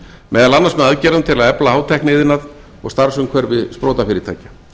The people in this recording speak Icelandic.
meðal annars með aðgerðum til að efla hátækniiðnað og starfsumhverfi sprotafyrirtækja